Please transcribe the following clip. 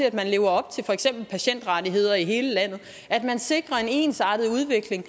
at man lever op til for eksempel patientrettigheder i hele landet sikrer en ensartet udvikling